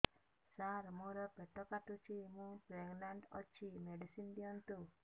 ସାର ମୋର ପେଟ କାଟୁଚି ମୁ ପ୍ରେଗନାଂଟ ଅଛି ମେଡିସିନ ଦିଅନ୍ତୁ